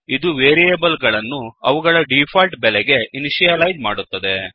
ಇದು ವೇರಿಯೇಬಲ್ ಗಳನ್ನು ಅವುಗಳ ಡಿಫಾಲ್ಟ್ ಬೆಲೆಗೆ ಇನಿಷಿಯಲೈಜ್ ಮಾಡುತ್ತದೆ